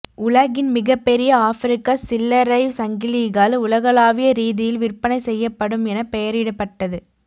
உலகின் மிகப்பெரிய ஆபிரிக்க சில்லறை சங்கிலிகள் உலகளாவிய ரீதியில் விற்பனை செய்யப்படும் என பெயரிடப்பட்டது